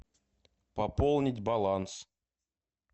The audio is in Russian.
пополнить баланс